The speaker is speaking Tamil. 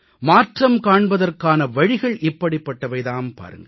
மாற்றம் காண்பதற்கான வழிகள் இப்படிப்பட்டவை தாம் பாருங்கள்